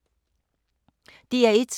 DR1